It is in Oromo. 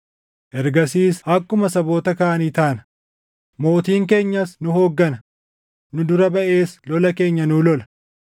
Ergasiis akkuma saboota kaanii taana; mootiin keenyas nu hooggana; nu dura baʼees lola keenya nuu lola.”